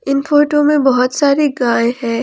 इन photo में बहुत सारी गाय है।